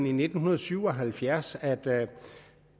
i nitten syv og halvfjerds at